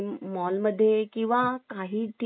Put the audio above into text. काही ठिकाणी बघतो बाहेरच